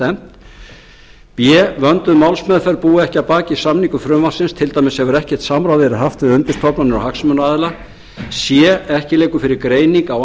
stefnt b vönduð málsmeðferð búi ekki að baki samningu frumvarpsins til dæmis hefur ekkert samráð verið haft við undirstofnanir og hagsmunaaðila c ekki liggur fyrir greining á